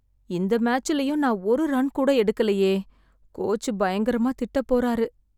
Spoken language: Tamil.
இந்த மேட்சுலயும் நான் ஒரு ரன் கூட எடுக்கலையே! கோச் பயங்கரமாத் திட்டப் போறாரு.